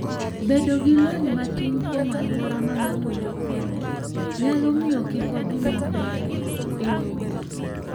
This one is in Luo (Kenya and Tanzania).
Bedo gi lony matin kuom alwora ma ng'ato wuothoe, nyalo miyo kik odhi maber e wuoth.